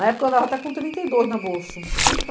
Na época, eu andava até com trinta e dois na bolsa. Eu